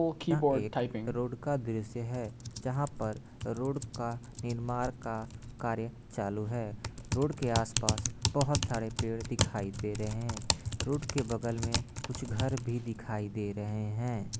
यहां एक रोड का दृश्य है जहां पर रोड का निर्माण का कार्य चालू है रोड के आस-पास बहुत सारे पेड़ दिखाई दे रहे हैं रोड के बगल में कुछ घर भी दिखाई दे रहे हैं।